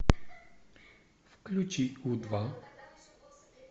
включи у два